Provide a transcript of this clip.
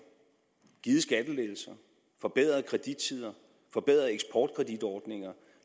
givet skattelettelser forbedret kredittider forbedret eksportkreditordninger